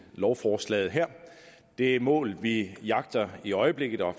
lovforslaget her det mål vi jagter i øjeblikket og